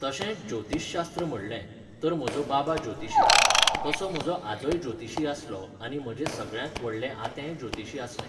तशेंच ज्योतीशशास्त्र म्हणलें, तर म्हजो बाबा ज्योतिशी. तसो म्हजो आजोय ज्योतिशी आसलो आनी म्हजें सगळ्यांत व्हडलें आतेंय ज्योतिशी आसलें.